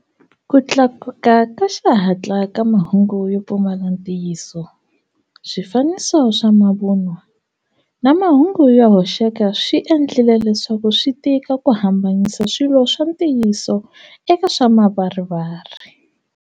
Ku tlakuka ka xihatla ka mahungu yo pfumala ntiyiso, swifaniso swa mavunwa, na mahungu yo hoxeka swi endlile leswaku swi tika ku hambanyisa swilo swa ntiyiso eka swa mavarivari.